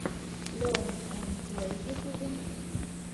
лерн энд плэй в ютубе